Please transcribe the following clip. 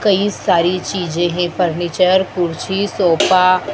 कई सारी चीजे हैं फर्नीचर कुर्सी सोफा --